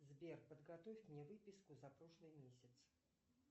сбер подготовь мне выписку за прошлый месяц